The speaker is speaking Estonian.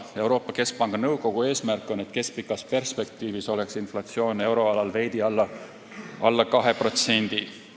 Euroopa Keskpanga nõukogu eesmärk on, et keskpikas perspektiivis oleks inflatsioon euroalal veidi alla 2%.